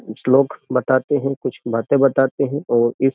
श्लोक बताते हैं कुछ बातें बताते हैं और इस --